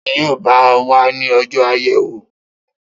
Ta ni yóò bá o wá ní ọjọ́ àyẹ̀wò